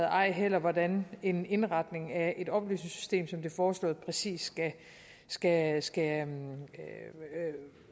ej heller hvordan en indretning af et oplysningssystem som det foreslåede præcis skal skal